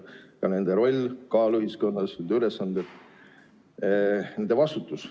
On ka nende roll, kaal ühiskonnas, nende ülesanded ja nende vastutus.